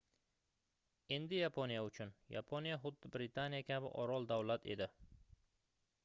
endi yaponiya uchun yaponiya xuddi britaniya kabi orol-davlat edi